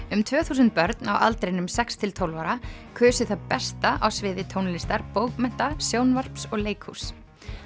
um tvö þúsund börn á aldrinum sex til tólf ára kusu það besta á sviði tónlistar bókmennta sjónvarps og leikhúss